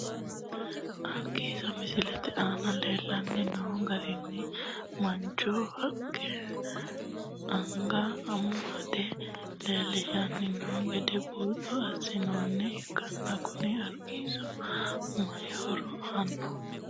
Argiisa misilete aana leelani noo argiisi manchu hiiqqe angate amade lelishani noo gede buuxo asinoomoha ilkana kuni argiisino mayi horo aano.